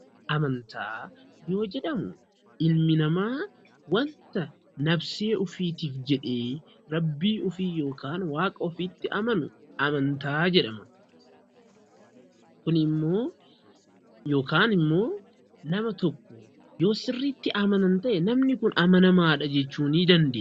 Amantaa yoo jedhamu, ilmi namaa wanta nabsee ofiitiif jedhee rabbii ofii yookaan waaqa ofii itti amanu, amataa jedhama. Kunimmoo yookaan immoo nama tokko yoo sirriitti amanan ta'e namni kun amanamaadha jechuu ni dandeenya.